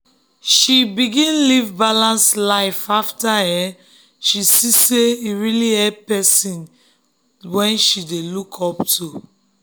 she begin live balanced life after um she see say e really help person wey she dey look up to.